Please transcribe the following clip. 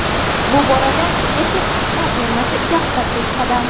Bu borada yashil qit’a termasi yaqqol peshqadam.